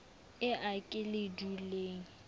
e a ke le duleng